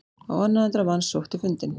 Á annað hundrað manns sótti fundinn